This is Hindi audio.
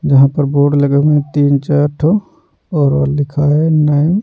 जहां पर बोर्ड लगे हुए तीन चार ठो और लिखा है नाइन --